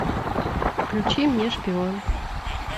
включи мне шпион